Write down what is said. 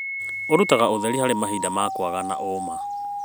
ũrutaga ũtheri harĩ mahinda ma kwaga na ũma.